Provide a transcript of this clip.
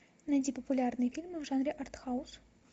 найди популярные фильмы в жанре арт хаус